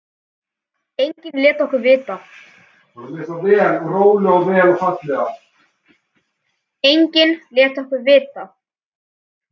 Enginn lét okkur vita.